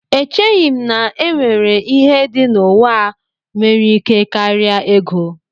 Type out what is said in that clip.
Echeghị m na e nwere ihe dị n'ụwa a nwere ike karịa ego